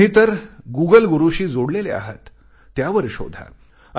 तुम्ही तर गुगल गुरूशी जोडलेले आहात त्यावर शोधा